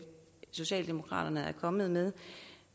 socialdemokraterne er kommet med